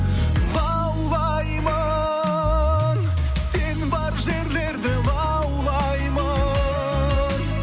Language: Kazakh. лаулаймын сен бар жерлерде лаулаймын